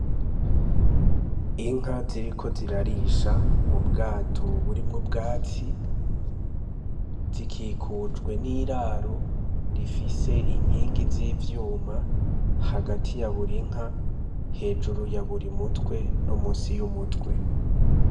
Inka ziriko zirarisha mu bwato burimwo bwatsi, zikikujwe n'iraro rifise inkingi z'ivyuma hagati ya buri inka hejuru ya buri mutwe no musi y'umutwe.